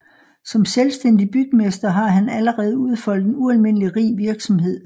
Som selvstændig bygmester har han allerede udfoldet en ualmindelig rig virksomhed